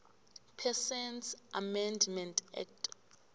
persons amendment act